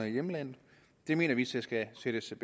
i hjemlandet det mener vi så skal sættes